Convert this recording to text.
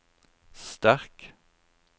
sterk